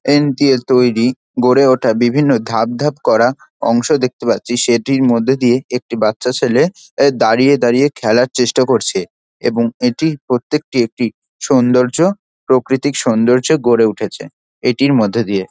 দিয়ে তৈরী গড়ে ওঠা বিভিন্ন ধাপ ধাপ করা অংশ দেখতে পাচ্ছি সেটির মধ্যে দিয়ে একটি বাচ্চা ছেলে দাঁড়িয়ে দাঁড়িয়ে খেলার চেষ্টা করছে। এবং এটির প্রত্যেকটি একটি সৌন্দর্য্য প্রকৃতিক সৌন্দর্য্য গড়ে উঠেছে । এটির মধ্যে দিয়ে